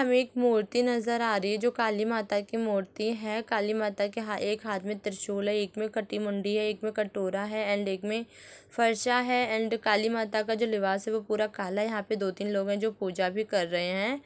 एक मूर्ति नजर आ रही है जो काली माता की मूर्ति है काली माता के एक हाथ में त्रिशूल है एक में कटी मुंडी है एक में कटोरा है एंड एक मे फरसा है एंड काली माता का जो लिवास है वह काला है यहां पे दो तीन लोग हैं जो पूजा भी कर रहे हैं।